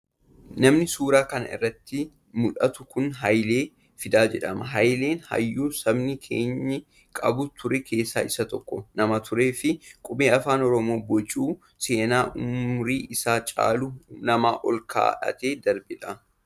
Namni suuraa kana irraa nutti mul'atu kun Hayilee Fidaa jedhama. Hayileen hayyuu sabni keenya qabu ture keessaa isa tokko nama turee fi qubee afaan Oromoo bocuun seenaa umurii isaa caalu nama ol kaa'atee darbedha